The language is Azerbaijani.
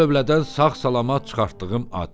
Bu da tövlədən sağ-salamat çıxartdığım at.